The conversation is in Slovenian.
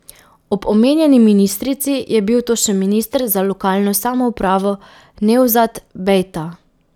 Ob omenjeni ministrici je bil to še minister za lokalno samoupravo Nevzat Bejta.